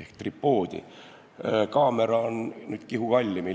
ehk tripoodi, kaamera on ilmselt kihu kallim.